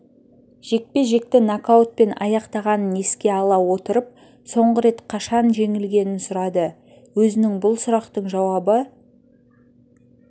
жекпе-жекті нокаутпен аяқтағанын еске ала отырып соңғы рет қашан жеңілгенін сұрады өзінің бұл сұрақтың жауабы